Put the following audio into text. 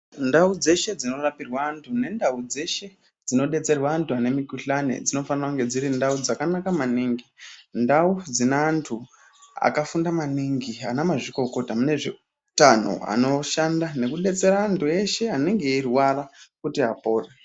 Ndau dzeshe dzinorapirwa anthu nendau dzeshe dzinodetserwa anthu anemikuhlani dzinofana kunge dziri ndau dzakanaka maningi ndau dzine anthu akafunda maningi ana mazvikokota mune zveutano anoshanda nekudetsera anthu eshe anenge eirwara kuti apore .